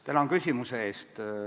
Tänan küsimuse eest!